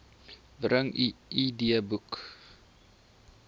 bring u idboek